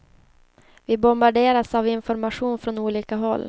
Vi bombarderas av information från olika håll.